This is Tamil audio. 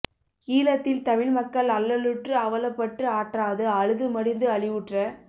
ஈழத்தில் தமிழ் மக்கள் அல்லலுற்று அவலப்பட்டு ஆற்றாது அழுது மடிந்து அழிவுற்ற